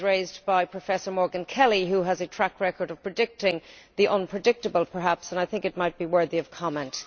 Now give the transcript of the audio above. It was raised by Professor Morgan Kelly, who perhaps has a track record of predicting the unpredictable, and I think it might be worthy of comment.